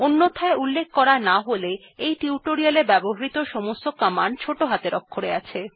অন্যথায় উল্লেখ করা না থাকলে এই টিউটোরিয়ালটিতে ব্যবহৃত সমস্ত র্নিদেশাবলী ছোট হাতের অক্ষরে আছে